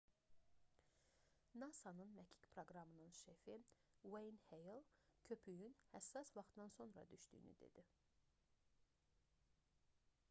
nasa-nın məkik proqramının şefi n ueyn heyl jr köpüyün həssas vaxtdan sonra düşdüyünü dedi